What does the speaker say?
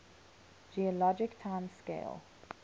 geologic time scale